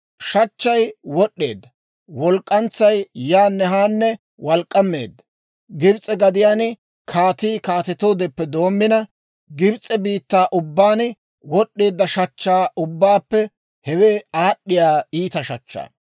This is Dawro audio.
Shachchay wod'd'eedda; walk'k'antsay yaanne haanne walk'k'ammeedda; Gibs'e gadiyaan kaatii kaatetoodeppe doommina, Gibs'e biittaa ubbaan wod'd'eedda shachchaa ubbaappe hewe aad'd'iyaa iita shachchaa.